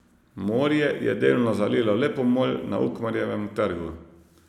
Morje je delno zalilo le pomol na Ukmarjevem trgu.